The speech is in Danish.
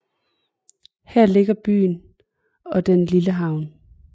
Her ligger byen og den lille havn